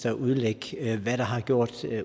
at udlægge hvad der har gjort